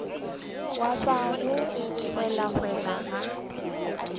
ya ba go welawela ga